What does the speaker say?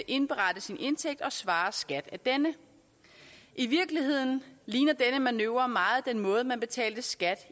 indberette sin indtægt og svare skat af denne i virkeligheden ligner denne manøvre meget den måde man betalte skat